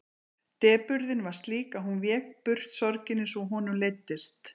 Depurðin var slík að hún vék burt sorginni svo honum leiddist.